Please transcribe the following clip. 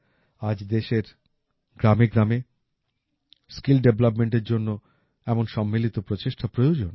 আজ দেশের গ্রামেগ্রামে স্কিল ডেভেলপমেন্ট এর জন্য এমন সম্মিলিত প্রচেষ্টা প্রয়োজন